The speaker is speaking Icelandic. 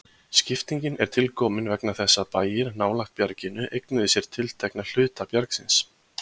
Skiptingin er tilkomin vegna þess að bæir nálægt bjarginu eignuðu sér tiltekna hluta bjargsins.